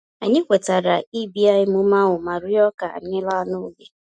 Anyị kwetara ibia emume ahu ma rịọ ka anyị laa n'oge